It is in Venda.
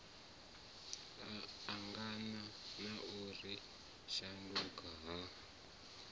angana na u shanduka ha